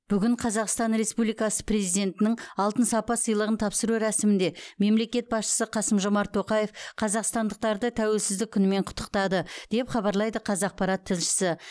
бүгін қазақстан республикасы президентінің алтын сапа сыйлығын тапсыру рәсімінде мемлекет басшысы қасым жомарт тоқаев қазақстандықтарды тәуелсіздік күнімен құттықтады деп хабарлайды қазақпарат тілшісі